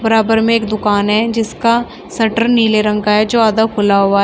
बराबर में एक दुकान है जिसका शटर नीले रंग का है जो आधा खुला हुआ है।